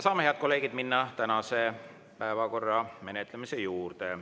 Head kolleegid, saame minna tänase päevakorra menetlemise juurde.